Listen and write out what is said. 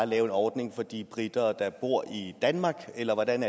lave en ordning for de briter der bor i danmark eller hvordan